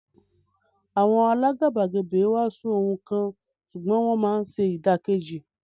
Àwọn alágàbàgebè ń wàásù ohun kan ṣùgbọ́n wọ́n máa ń ṣe ìdàkejì.